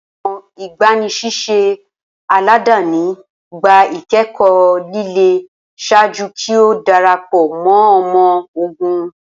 Awọn igbanisiṣẹ aladani gba ikẹkọ lile ṣaaju ki o darapọ mọ ọmọ-ogun.